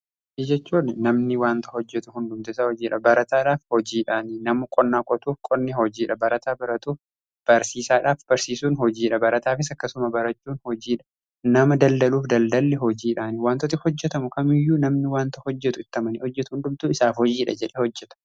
Hojii jechuun namni wanta hojjetu hundumti hojiidha, barataadhaaf hojiidhaanii namu qonnaa qotuuf qonni hojiidha barataa baratuuf barsiisaadhaaf barsiisuun hojiidha. Barataafis akkasuma barachuun hojiidha nama daldaluuf daldalli hojiidhaanii. Wantooti hojjetamu kamiiyyuu namni wanta hojjetu itti amanii hojjetu hundumtuu isaaf hojiidha jedhe hojjeta.